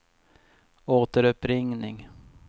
återuppringning